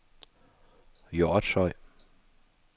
Hjortshøj